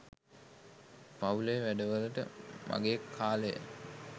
පවු‍ලේ වැඩවලට මගේ කාලය